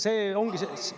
See ongi …